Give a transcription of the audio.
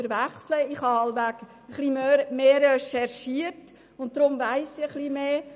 Ich habe wohl etwas mehr recherchiert und weiss deshalb ein bisschen mehr.